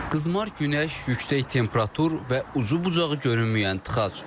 Qızmar günəş, yüksək temperatur və ucu-bucağı görünməyən tıxac.